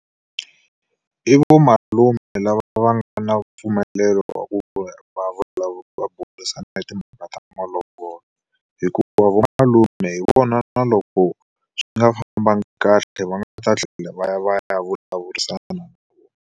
I va malume lava va nga na mpfumelelo wa ku burisana timhaka ta malovolo. Hikuva vo malume hi vona na loko swi nga fambangi kahle va nga ta tlhela va ya va ya vulavurisana na vona.